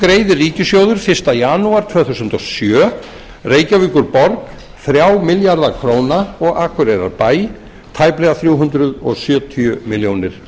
greiðir ríkissjóður fyrsta janúar tvö þúsund og sjö reykjavíkurborg þrjá milljarða króna og akureyrarbæ tæplega þrjú hundruð sjötíu milljónum